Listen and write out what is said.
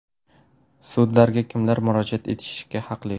Sudlarga kimlar murojaat etishga haqli?.